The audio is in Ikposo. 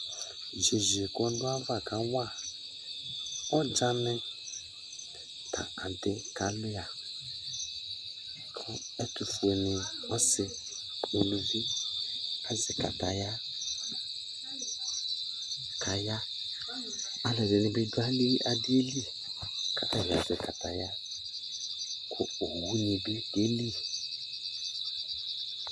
Yesui kʋ ɔdʋ ayava kawa ɔdzanɩ la kʋ adɩ kalʋɩa kʋ ɔkefuele ɔsɩ uluvi azɛ kataya la kʋ aya Alʋɛdɩnɩ dɩ bɩ dʋ adɩ yɛ li kʋ ata bɩ azɛ kataya kʋ owunɩ bɩ keli